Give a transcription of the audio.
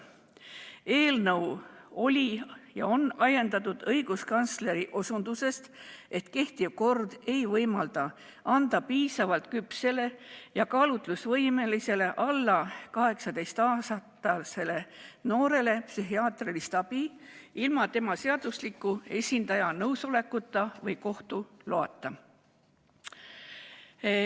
Eelnõu oli ja on ajendatud õiguskantsleri osutusest, et kehtiv kord ei võimalda anda piisavalt küpsele kaalutlusvõimelisele alla 18-aastasele noorele psühhiaatrilist abi ilma tema seadusliku esindaja nõusolekuta või kohtu loata.